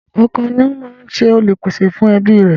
Ọkọ ni ó máa ń jẹ Olùpèsè fún ẹbí rẹ̀